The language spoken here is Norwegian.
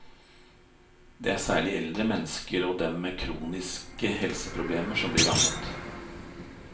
Det er særlig eldre mennesker og dem med kroniske helseproblemer som blir rammet.